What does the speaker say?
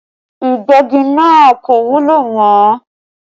Ìgbẹ́gi náà kò wúlò mọ́